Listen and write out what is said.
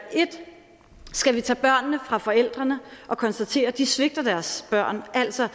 skal vi tage børnene fra forældrene og konstatere at de svigter deres børn altså